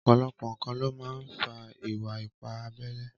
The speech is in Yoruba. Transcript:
Ọpọlọpọ nkán ló mà n fà ìwà ìpá àbẹlé